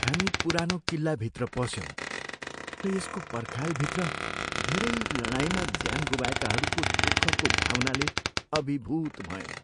हामी पुरानो किल्लाभित्र पस्यौँ र यसको पर्खालभित्र धेरै लडाईँमा ज्यान गुमाएकाहरूको दुःखको भावनाले अभिभूत भयौँ।